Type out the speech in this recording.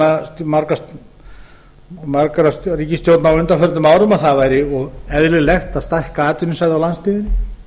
held ég stefna margra ríkisstjórna á undanförnum árum að það væri eðlilegt að stækka atvinnusvæði á landsbyggðinni